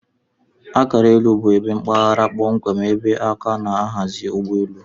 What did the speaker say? Akara elu bu ebe mpaghara kpọmkwem ebe aka na aghazi ugbọ elụ.